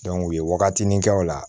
u ye wagatinin kɛ o la